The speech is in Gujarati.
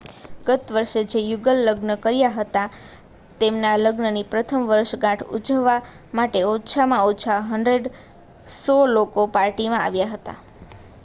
ગત વર્ષે જે યુગલે લગ્ન કર્યા હતા તેમના લગ્નની પ્રથમ વર્ષગાંઠ ઉજવવા માટે ઓછામાં ઓછા 100 લોકો પાર્ટીમાં આવ્યા હતા